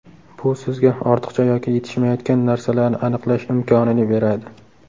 Bu sizga ortiqcha yoki yetishmayotgan narsalarni aniqlash imkonini beradi.